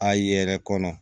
A yɛrɛ kɔnɔ